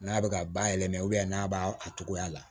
N'a bɛ ka bayɛlɛma n'a b'a cogoya la